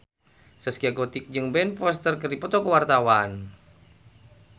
Zaskia Gotik jeung Ben Foster keur dipoto ku wartawan